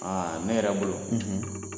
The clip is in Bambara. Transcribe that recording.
Aa ne yɛrɛ bolo ,